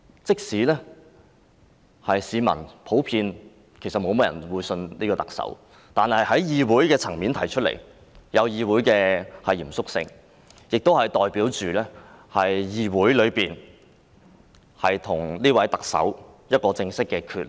即使市民普遍不信任特首，但在議會層面提出這項議案，帶有議會的嚴肅性，亦代表議會與這位特首正式決裂。